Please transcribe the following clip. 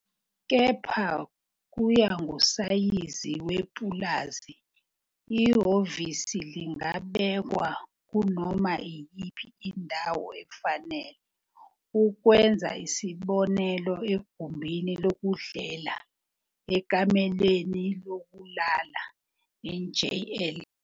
Kepha kuya ngosayizi wepulazi, ihhovisi lingabekwa kunoma iyiphi indawo efanele, ukwenza isibonelo egumbini lokudlela, ekamelweni lokulala, njl.